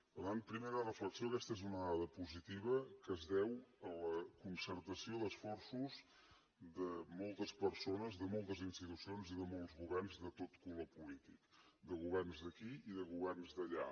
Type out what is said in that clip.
per tant primera reflexió aquesta és una dada positiva que es deu a la concertació d’esforços de moltes persones de moltes institucions i de molts governs de tot color polític de governs d’aquí i de governs d’allà